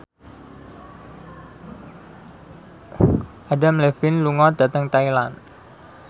Adam Levine lunga dhateng Thailand